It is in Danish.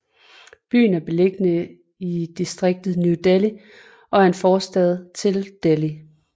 Byen er beliggende i distriktet New Delhi og er en forstad til Delhi